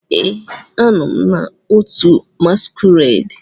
Ee, a nọ m na otu masquerade.